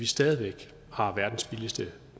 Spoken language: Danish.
stadig væk har verdens billigeste